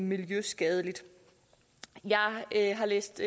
miljøskadelig jeg har læst